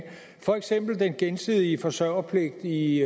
for eksempel den gensidige forsørgerpligt i